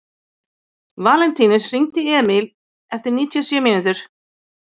Valentínus, hringdu í Emíl eftir níutíu og sjö mínútur.